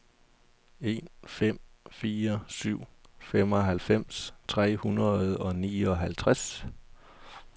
en fem fire syv femoghalvfems tre hundrede og nioghalvtreds